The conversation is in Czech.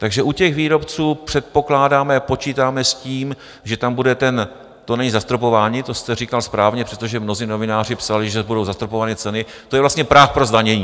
Takže u těch výrobců předpokládáme, počítáme s tím, že tam bude ten - to není zastropování, to jste říkal správně, přestože mnozí novináři psali, že budou zastropovány ceny, to je vlastně práh pro zdanění.